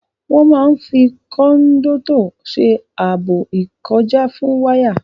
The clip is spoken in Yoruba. Wọ́n máa n fi kòndọ́tọ̀ ṣe ààbò ìkọjá fún wáyà